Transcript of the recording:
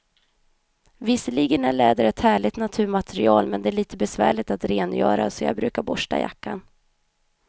Visserligen är läder ett härligt naturmaterial, men det är lite besvärligt att rengöra, så jag brukar borsta jackan.